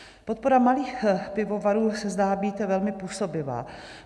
Podpora malých pivovarů se zdá být velmi působivá.